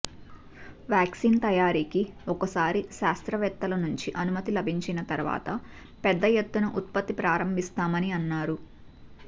vaccine తయారీకి ఒకసారి శాస్త్రవేత్తల నుంచి అనుమతి లభించిన తర్వాత పెద్ద ఎత్తున ఉత్పత్తి ప్రారంభిస్తామని అన్నారు